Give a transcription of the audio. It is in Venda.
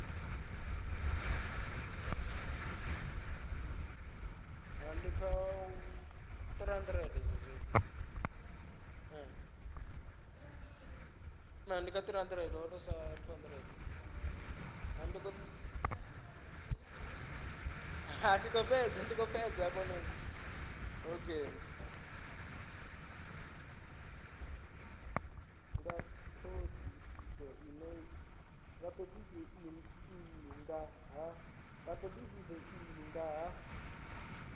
nga thodisiso iyi nga ha